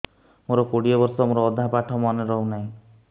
ମୋ କୋଡ଼ିଏ ବର୍ଷ ମୋର ଅଧା ପାଠ ମନେ ରହୁନାହିଁ